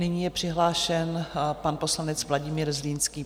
Nyní je přihlášen pan poslanec Vladimír Zlínský.